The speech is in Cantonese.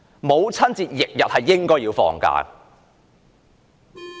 母親節翌日應該放假。